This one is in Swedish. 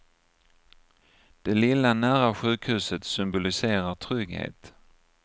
Det lilla nära sjukhuset symboliserar trygghet.